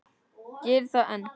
Gerir það enn.